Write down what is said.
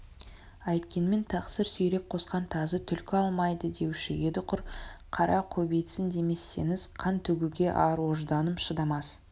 әйткенмен тақсыр сүйреп қосқан тазы түлкі алмайды деуші еді құр қара көбейтсін демесеңіз қан төгуге ар-ожданым шыдамас